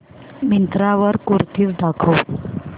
मिंत्रा वर कुर्तीझ दाखव